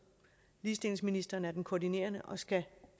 ligestillingsministeren er den koordinerende og skal